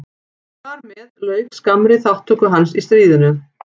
Þar með lauk skammri þátttöku hans í stríðinu.